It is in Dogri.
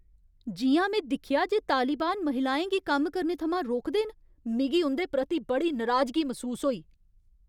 जि'यां में दिक्खेआ जे तालिबान महिलाएं गी कम्म करने थमां रोकदे न, मिगी उं'दे प्रति बड़ी नराजगी मसूस होई।